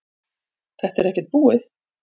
Þetta er ekkert búið